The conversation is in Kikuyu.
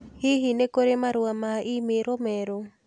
Hihi nĩ kurĩ marũa ma i-mīrū merũ